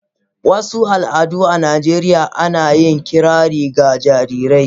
Wasu al'adu a Najeriya ana yin kirari ga jarirai.